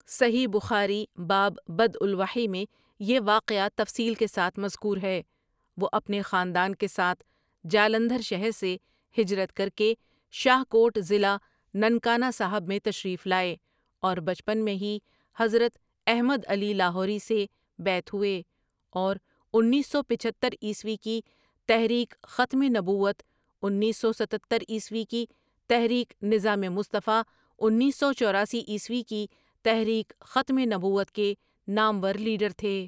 صحیح بخاری باب بدۤء الوحی میں یہ واقعہ تفصیل کے ساتھ مذکور ہے وہ اپنے خاندان کے ساتھ جالندھر شہر سے ہجرت کرکےشاہ کوٹ ضلع ننکانہ صاحب میں تشریف لائے اور بچپن میں ہی حضرت احمد علی لاہوری سے بیعت ہوئے اور انیس سو پچہتر عیسوی کی تحریک ختم نبوت، انیس سو ستہتر عیسوی کی تحریک نظام مصطفیؐ، انیس سو چوراسی عیسوی کی تحریک ختم نبوت کے نامور لیڈر تھے ۔